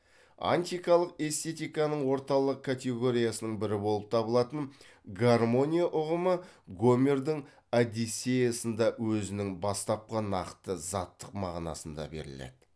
антикалык эстетиканың орталық категориясының бірі болып табылатын гармония ұғымы гомердің одиссеясында өзінің бастапқы нақты заттық мағынасында беріледі